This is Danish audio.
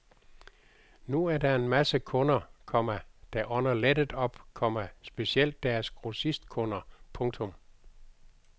Nu er der er en masse kunder, komma der ånder lettet op, komma specielt deres grossistkunder. punktum